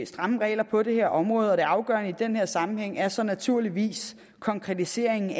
stramme regler på det her område og det afgørende i den her sammenhæng er så naturligvis en konkretisering